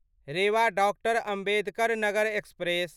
Rewa doctor Ambedkar Nagar express